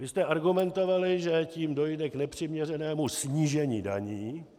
Vy jste argumentovali, že tím dojde k nepřiměřenému snížení daní.